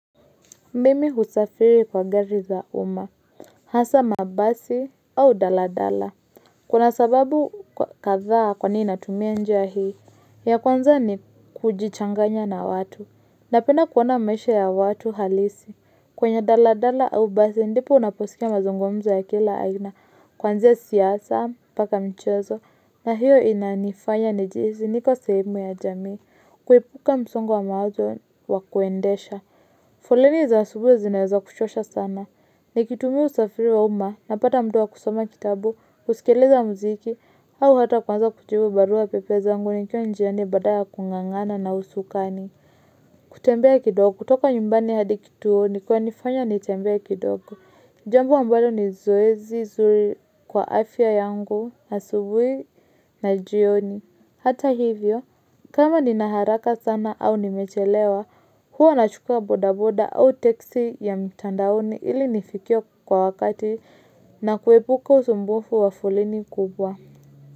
Mimi husafiri kwa gari za uma. Hasa mabasi au daladala. Kuna sababu kathaa kwa nini natumia njia hii. Ya kwanza ni kujichanganya na watu. Na penda kuona maisha ya watu halisi. Kwenye daladala au basi ndipo unaposkia mazungumzo ya kila aina. Kuanzia siasa mpaka michezo. Na hiyo inanifanya nijihisi niko sehemu ya jamii. Kuepuka msongo wa mawazo wa kuendesha. Foleni za asubui zinaweza kuchosha sana. Nikitumia usafiri wa uma, napata mtu wa kusoma kitabu, kusikiliza muziki, au hata kuanza kujibu barua pepe zangu ni kiwa njiani badala ya kung'ang'ana na usukani. Kutembea kidogo, kutoka nyumbani hadi kituo ni kuna nifanya nitembee kidogo. Jambo ambalo ni zoezi, zuri kwa afya yangu, asubui na jioni. Hata hivyo, kama ninaharaka sana au nimechelewa, huwa na chukua bodaboda au teksi ya mitandaoni ili nifikie kwa wakati na kuepuka usumbufu wa foleni kubwa.